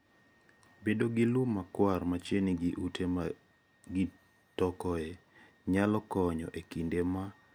Bedo gi lum makwar machiegni gi ute ma gi tokoe nyalo konyo e kinde ma chandruok nitie.